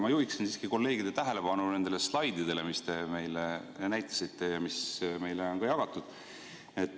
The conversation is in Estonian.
Ma juhiksin siiski kolleegide tähelepanu nendele slaididele, mida te meile näitasite ja mis meile on jagatud.